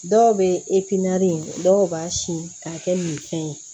Dɔw bɛ dɔw b'a sin k'a kɛ minfɛn ye